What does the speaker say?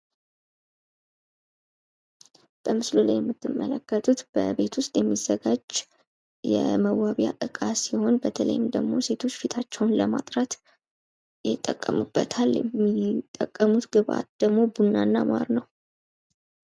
በምስሉ ላይ የምትመለከቱት በቤት ውስጥ የሚዘጋጅ የመዋብያ ዕቃ ሲሆን በተለይ ደግሞ ሴቶች ፊታቸውን ለማጥራት ይጠቀሙበታል። የሚጠቀሙት ግብዓት ደግሞ ቡና እና ማር ነው።